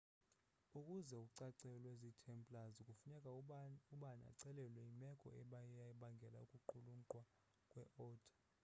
ukuze ucacelwe zi templars kufuneka ubani acacelwe yimeko eyabangela ukuqulunqwa kwe oda